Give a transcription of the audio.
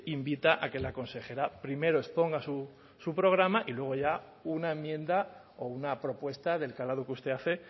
invita a que la consejera primero exponga su programa y luego ya una enmienda o una propuesta del calado que usted hace